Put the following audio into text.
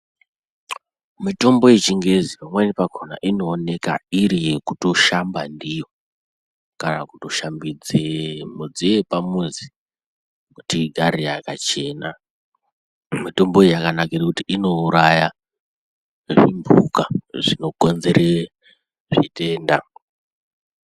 Mitombo yechingezi pamweni pakhona inoonekwa iri yekutoshamba ndiyo ,kana kutoshambidze midziyo yepamuzi, kuti igare yakachena. Mitomboyi yakanakire kuti ,inouraye zvimphuka zvinounzere zvitenda.